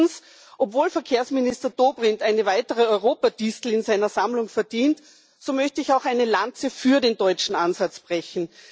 Drittens Obwohl Verkehrsminister Dobrindt eine weitere Europa Distel in seiner Sammlung verdient, so möchte ich auch eine Lanze für den deutschen Ansatz brechen.